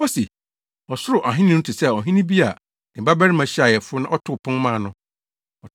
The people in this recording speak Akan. Ose, “Ɔsoro Ahenni no te sɛ ɔhene bi a ne babarima hyiaa ayeforo na ɔtoo pon maa no.